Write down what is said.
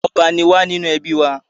Ọba ni wá nínú ẹbí wa.